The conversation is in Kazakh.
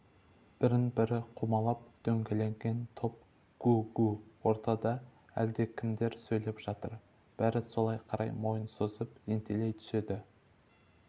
бірін-бірі қаумалап дөңгеленген топ гу-гу ортада әлдекімдер сөйлеп жатыр бәрі солай қарай мойын созып ентелей түседі